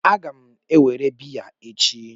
Aga m ewere biya echi